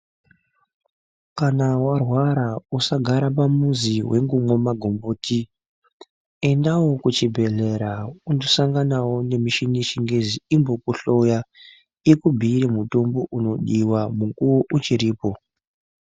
Kana warwara usagara pamuzi weingomwa magomboti, endawo kuchibhehlera undosanganawo nemishini yechingezi imbokuhloya ikubhuire mutombo unodiwa nguwa ichiripo.